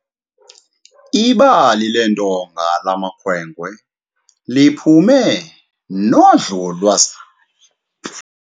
Idabi leentonga lamakhwenkwe liphume nodlolwazana.